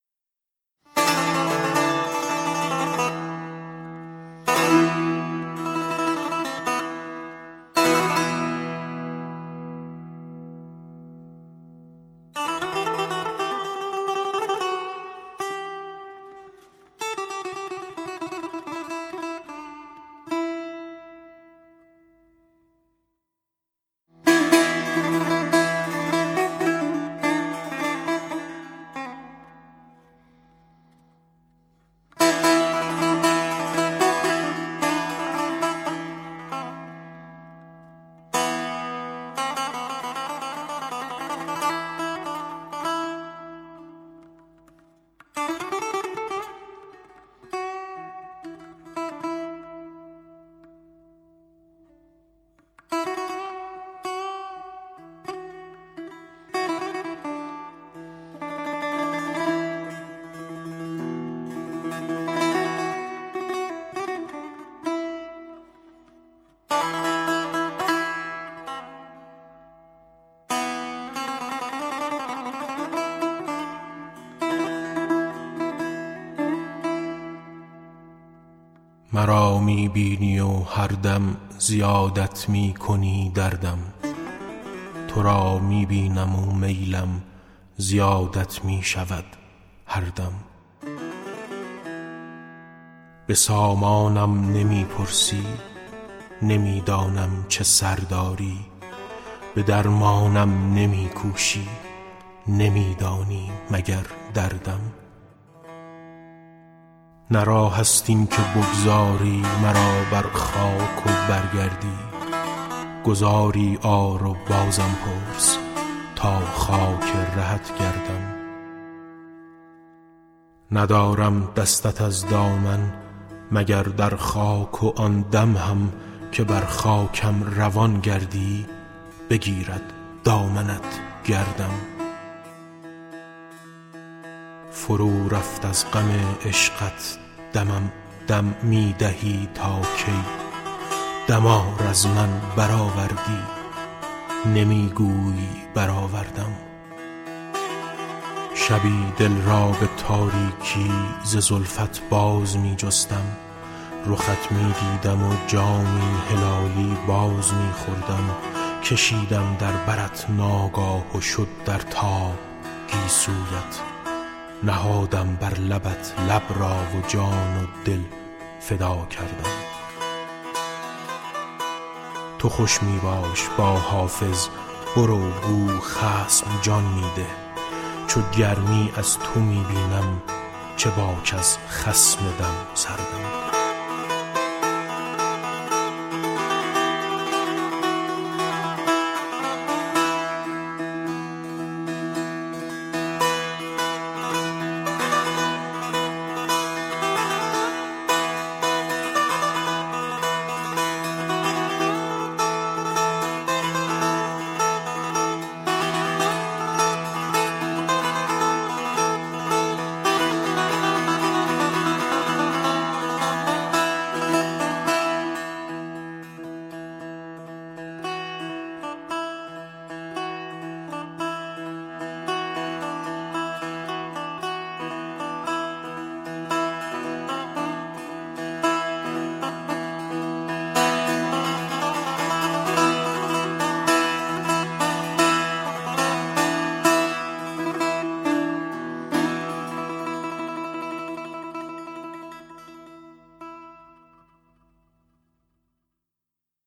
مرا می بینی و هر دم زیادت می کنی دردم تو را می بینم و میلم زیادت می شود هر دم به سامانم نمی پرسی نمی دانم چه سر داری به درمانم نمی کوشی نمی دانی مگر دردم نه راه است این که بگذاری مرا بر خاک و بگریزی گذاری آر و بازم پرس تا خاک رهت گردم ندارم دستت از دامن به جز در خاک و آن دم هم که بر خاکم روان گردی بگیرد دامنت گردم فرو رفت از غم عشقت دمم دم می دهی تا کی دمار از من برآوردی نمی گویی برآوردم شبی دل را به تاریکی ز زلفت باز می جستم رخت می دیدم و جامی هلالی باز می خوردم کشیدم در برت ناگاه و شد در تاب گیسویت نهادم بر لبت لب را و جان و دل فدا کردم تو خوش می باش با حافظ برو گو خصم جان می ده چو گرمی از تو می بینم چه باک از خصم دم سردم